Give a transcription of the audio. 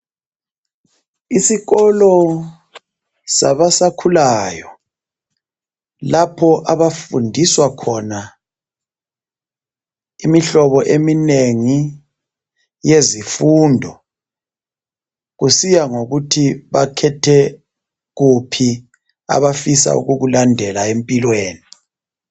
Isikolo sabasakhulayo ,lapho abafundiswa khona imihlobo eminengi yezifundo .Kusiya ngokuthi bakhethe kuphi abafisa ukukulandela empilweni .